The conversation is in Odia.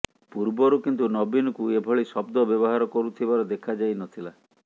ପୂର୍ବରୁ କିନ୍ତୁ ନବୀନଙ୍କୁ ଏଭଳି ଶବ୍ଦ ବ୍ୟବହାର କରୁଥିବାର ଦେଖାଯାଇନଥିଲା